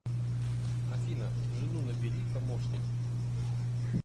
афина жену набери помощник